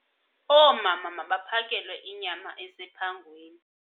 Oomama mabaphakelwe inyama esephangweni.